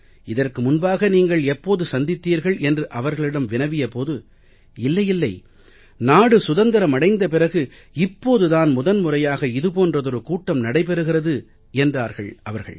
இதற்கு முன்பாக நீங்கள் எப்போது சந்தித்தீர்கள் என்று அவர்களிடம் வினவிய போது இல்லை இல்லை நாடு சுதந்திரம் அடைந்த பிறகு இப்போது தான் முதன் முறையாக இது போன்றதொரு கூட்டம் நடைபெறுகிறது என்றார்கள் அவர்கள்